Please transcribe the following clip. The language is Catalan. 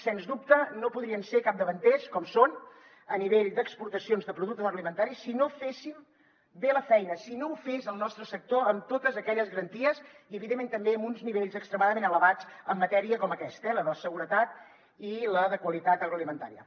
sens dubte no podríem ser capdavanters com som a nivell d’exportacions de productes alimentaris si no féssim bé la feina si no ho fes el nostre sector amb totes aquelles garanties i evidentment també amb uns nivells extremadament elevats en matèria com aquesta eh la de seguretat i la de qualitat agroalimentària